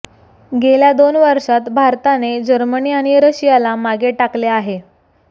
गेल्या दोन वर्षात भारताने जर्मनी आणि रशियाला मागे टाकले आहे